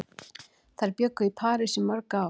Þær bjuggu í París í mörg ár.